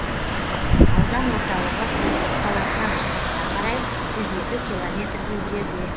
аудан орталығы есік қаласынан шығысқа қарай жүз екі километрдей жерде